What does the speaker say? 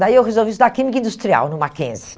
Daí eu resolvi estudar Química Industrial no Mackenzie.